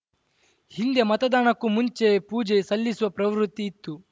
ಹಿಂದೆ ಮತದಾನಕ್ಕೂ ಮುಂಚೆ ಪೂಜೆ ಸಲ್ಲಿಸುವ ಪ್ರವೃತ್ತಿ ಇತ್ತು